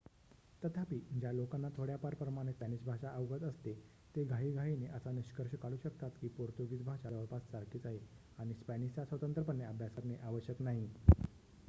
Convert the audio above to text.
तथापि ज्या लोकांना थोड्याफार प्रमाणत स्पॅनिश भाषा अवगत असते ते घाईघाईने असा निष्कर्ष काढू शकतात की पोर्तुगीज भाषा जवळपास सारखीच आहे आणि स्पॅनिशचा स्वतंत्रपणे अभ्यास करणे आवश्यक नाही